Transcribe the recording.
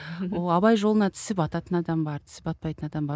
ы ол абай жолына тісі бататын адам бар тісі батпайтын адам бар